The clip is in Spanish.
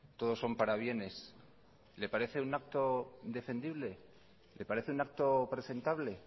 todos son parabienes le parece un acto defendible le parece un acto presentable